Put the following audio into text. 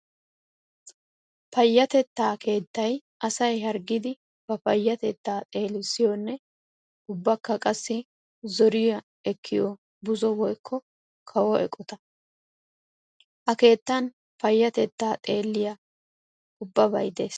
Payatetta keettay asay harggiddi ba payatetta xeelissiyonne ubbakka qassi zoriya ekkiyo buzo woykko kawo eqotta. Ha keettan payatetta xeeliya ubbabay de'ees.